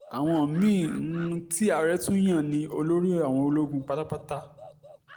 àwọn mí-ín tí àárẹ̀ tún yàn ni olórí àwọn ológun pátápátá